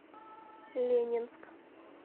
ленинск